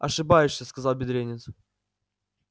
ошибаешься сказал бедренец